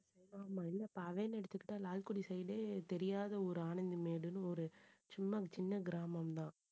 ஆமா, இல்ல எடுத்துகிட்டா லால்குடி side ஏ தெரியாத ஒரு ஆனந்திமேடுன்னு ஒரு சும்மா சின்ன கிராமம்தான்